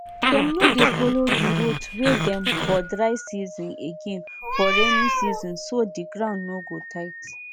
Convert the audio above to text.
better way to manage cow for milk work na to start with correct feeding clean environment and milking wey no dey stress the cow.